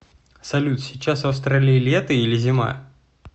салют сейчас в австралии лето или зима